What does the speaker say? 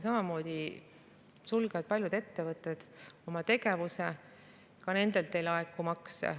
Samamoodi paljud ettevõtted oma tegevuse, ka nendelt ei laeku makse.